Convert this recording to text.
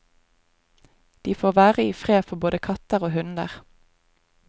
De får være i fred for både katter og hunder.